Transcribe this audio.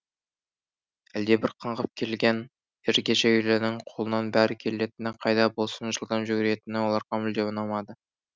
әлдебір қаңғып келген ергежейлінің қолынан бәрі келетіні қайда болсын жылдам жүгіретіні оларға мүлдем ұнамады